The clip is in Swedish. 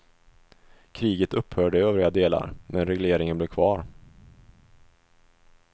Kriget upphörde i övriga delar, men regleringen blev kvar.